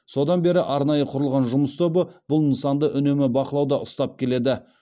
содан бері арнайы құрылған жұмыс тобы бұл нысанды үнемі бақылауда ұстап келеді